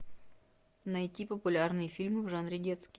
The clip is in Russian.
найти популярные фильмы в жанре детский